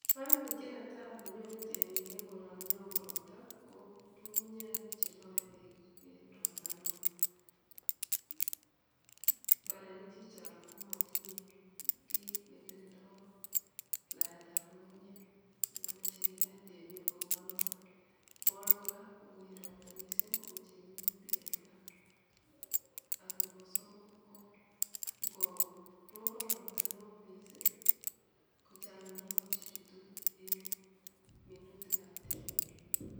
koimutiet netaa nenyoruu temik en koronii nyon woo robtaa ko ngungunyek cheloee beek en robtaa neoo, mbarenik chechang komotinyee kiit nekirindoo laet ab ngungunyek akomoje kineet temiik akopoo noton; neboo oeng koraa ko ingoyeet robta koweche minutik en imbar, ak neboo somok ko ngo robon robtaa neoo mising kochang mionwokik chejutu en minutik ab temik.